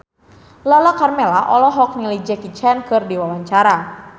Lala Karmela olohok ningali Jackie Chan keur diwawancara